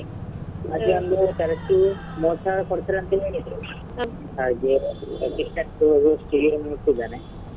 ಮತ್ತೊಂದು correct ಕೊಡ್ತೇನೆ ಅಂತ ಹೇಳಿದ್ರು ಹಾಗೆ .